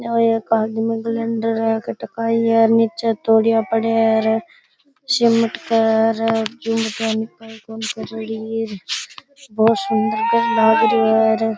और एक आदमी बहुत सुन्दर लग रियो है र